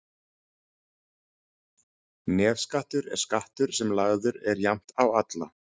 nefskattur er skattur sem lagður er jafnt á alla